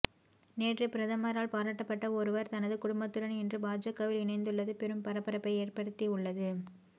நேற்று பிரதமரால் பாராட்டப்பட்ட ஒருவர் தனது குடும்பத்துடன் இன்று பாஜகவில் இணைந்துள்ளது பெரும் பரபரப்பை ஏற்படுத்தி உள்ளது